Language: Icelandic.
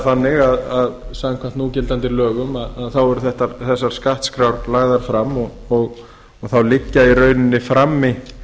þannig að samkvæmt núgildandi lögum eru þessar skattskrár lagðar fram og þá liggja í rauninni frammi